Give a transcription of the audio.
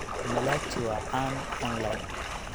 Malachi waa caan online.